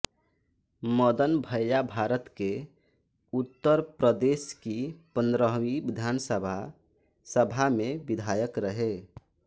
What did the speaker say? मदन भैय्याभारत के उत्तर प्रदेश की पंद्रहवी विधानसभा सभा में विधायक रहे